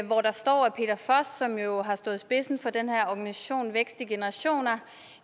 hvor der står at peter foss som jo stod i spidsen for den her organisation vækst i generationer